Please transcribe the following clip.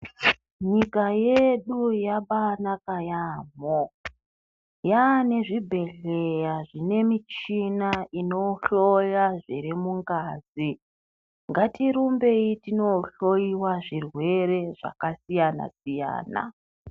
Nyika yedu yabaanaka yaamho yaane zvibhedhleya zvine michina inohloya zviri mungazi, ngatirumbei tinohloyiwa zvirwere zvakasiyana-siyana.